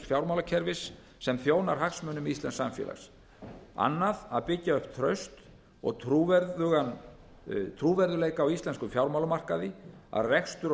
fjármálakerfis sem þjónar hagsmunum íslensks samfélags annars að byggja upp traust og trúverðugleika á íslenskum fjármálamarkaði að rekstur og